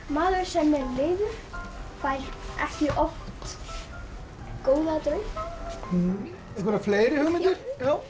maður sem er leiður fær ekki oft góða drauma fleiri hugmyndir